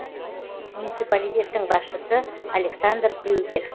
муниципалитеттің басшысы александер крюгер